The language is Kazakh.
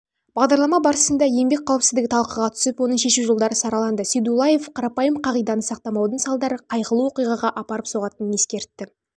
бағдарлама барысында еңбек қауіпсіздігі талқыға түсіп оның шешу жолдары сараланды сейдуллаев қарапайым қағиданы сақтамаудың салдары қайғылы